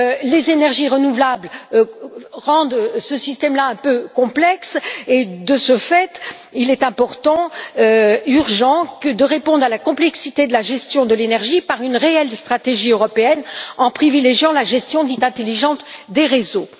Les énergies renouvelables rendent ce système un peu complexe et, de ce fait, il est important et urgent de répondre à la complexité de la gestion de l'énergie par une réelle stratégie européenne en privilégiant la gestion dite intelligente des réseaux.